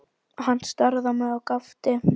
Hann starði á mig og gapti.